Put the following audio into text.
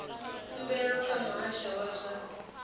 khumbelo kha muhasho wa zwa